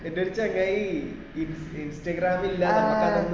എന്ടെ ഈ ചെങ്ങായി instagram ല് ഇല്ല നമുക്ക് അതൊന്നും ഇല്ല